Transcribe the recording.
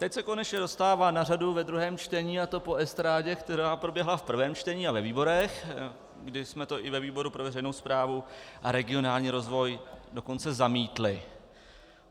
Teď se konečně dostává na řadu ve druhém čtení, a to po estrádě, která proběhla v prvém čtení a ve výborech, kdy jsme to i ve výboru pro veřejnou správu a regionální rozvoj dokonce zamítli.